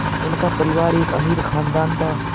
उनका परिवार एक अमीर ख़ानदान था